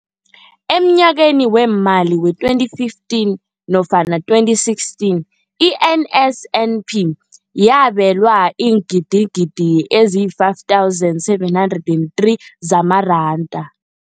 Emnyakeni weemali we-2015 nofana 2016, i-NSNP yabelwa iingidigidi ezi-5 703 zamaranda.